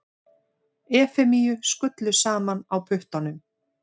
Efemíu skullu saman á puttanum.